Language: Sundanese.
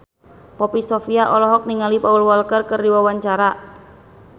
Poppy Sovia olohok ningali Paul Walker keur diwawancara